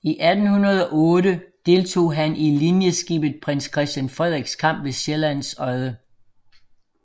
I 1808 deltog han i linjeskibet Prins Christian Frederiks kamp ved Sjællands Odde